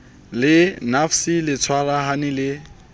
le nafci le tshwarahane le